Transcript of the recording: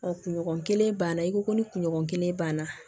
kunɲɔgɔn kelen banna i ko ko ni kunɲɔgɔn kelen banna